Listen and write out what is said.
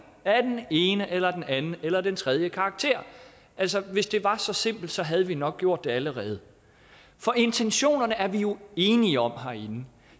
af den ene eller den anden eller den tredje karakter altså hvis det var så simpelt havde vi nok gjort det allerede for intentionerne er vi jo enige om herinde